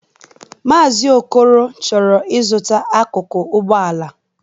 Maazi Okoro chọrọ izụta akụkụ Ụgbọala.